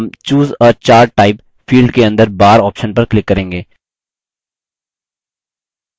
हम choose a chart type field के अंदर bar option पर click करेंगे